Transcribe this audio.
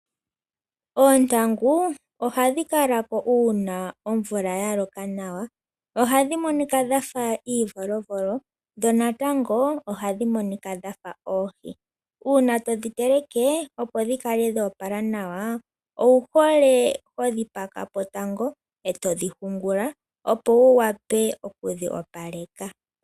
Oontangu ohadhi kalako uuna oomvula yaloka nawa . Ohadhi monika dhafa iivolovolo ,dho natango ohadhi monika dhafa oohi. Uuna todhi teleke opo dhikale shoopala nawa, owuhole hodhi pakapo tango , etodhi hungula opo wuwape okudhi opaleka.